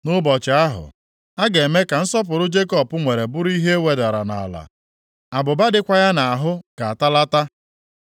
“Nʼụbọchị ahụ, a ga-eme ka nsọpụrụ Jekọb nwere bụrụ ihe e wedara nʼala. Abụba dịkwa ya nʼahụ ga-atalata.